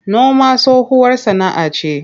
Noma tsohuwar sana'ce.